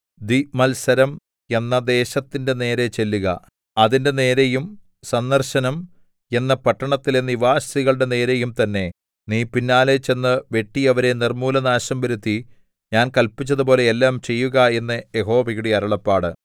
ദ്വിമത്സരം മെറാഥയീം എന്ന ദേശത്തിന്റെ നേരെ ചെല്ലുക അതിന്റെ നേരെയും സന്ദർശനം പെക്കോദ് എന്ന പട്ടണത്തിലെ നിവാസികളുടെ നേരെയും തന്നെ നീ പിന്നാലെ ചെന്ന് വെട്ടി അവരെ നിർമ്മൂലനാശം വരുത്തി ഞാൻ കല്പിച്ചതുപോലെ എല്ലാം ചെയ്യുക എന്ന് യഹോവയുടെ അരുളപ്പാട്